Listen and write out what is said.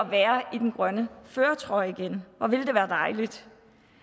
være i den grønne førertrøje igen hvor ville det være dejligt